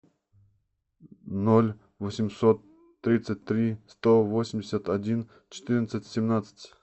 ноль восемьсот тридцать три сто восемьдесят один четырнадцать семнадцать